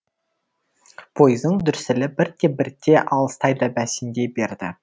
поездың дүрсілі бірте бірте алыстай да бәсендей берді